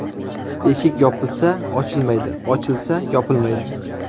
Eshik yopilsa ochilmaydi, ochilsa yopilmaydi.